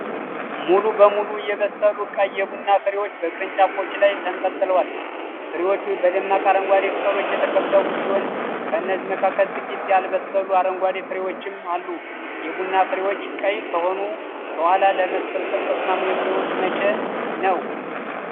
ሙሉ በሙሉ የበሰሉ ቀይ የቡና ፍሬዎች በቅርንጫፎች ላይ ተንጠልጥለዋል። ፍሬዎቹ በደማቅ አረንጓዴ ቅጠሎች የተከበቡ ሲሆን፣ ከነዚህ መካከል ጥቂት ያልበሰሉ አረንጓዴ ፍሬዎችም አሉ። የቡና ፍሬዎች ቀይ ከሆኑ በኋላ ለመሰብሰብ ተስማሚ የሚሆኑት መቼ ነው?